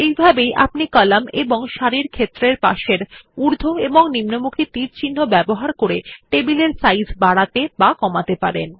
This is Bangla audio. এভাবেই আপনি কলাম এবং সারির ক্ষেত্রের পাশের ঊর্ধ্ব এবং নিম্নমুখী তীরচিহ্ন ব্যবহার করে টেবিলের সাইজ বাড়াতে বা কমাতে পারেন